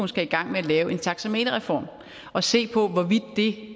skal i gang med at lave en taxameterreform at se på hvorvidt